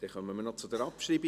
Wir kommen zur Abschreibung.